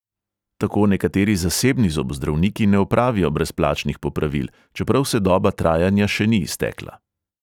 Tako nekateri zasebni zobozdravniki ne opravijo brezplačnih popravil, čeprav se doba trajanja še ni iztekla.